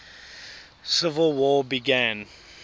civil war began